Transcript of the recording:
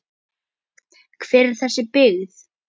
Hver er þessi byggð?